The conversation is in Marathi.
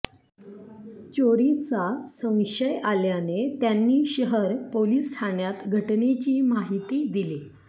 चोरीचा संशय आल्याने त्यांनी शहर पोलीस ठाण्यात घटनेची माहिती दिली